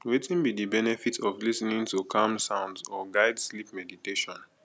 wetin be di benefit of lis ten ing to calm sounds or guide sleep meditation